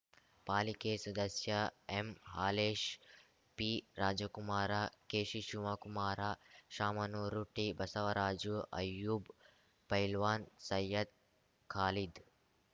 ಪಾಲಿಕೆ ಸದಸ್ಯ ಎಂಹಾಲೇಶ್ ಪಿರಾಜಕುಮಾರ ಕೆಶಿಶಿವಕುಮಾರ ಶಾಮನೂರು ಟಿಬಸವರಾಜು ಅಯೂಬ್‌ ಪೈಲ್ವಾನ್‌ ಸೈಯದ್‌ ಖಾಲಿದ್‌